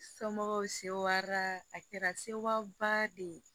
Somɔgɔw sewara a kɛra sewaba de ye